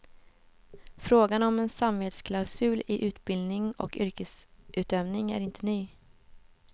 Frågan om en samvetsklausul i utbildning och yrkesutövning är inte ny.